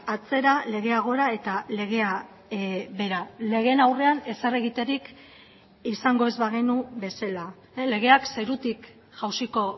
atzera legea gora eta legea behera legeen aurrean ezer egiterik izango ez bagenu bezala legeak zerutik jausiko